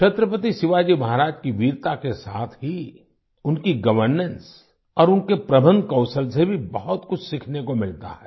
छत्रपति शिवाजी महाराज की वीरता के साथ ही उनकी गवर्नेंस और उनके प्रबंध कौशल से भी बहुत कुछ सीखने को मिलता है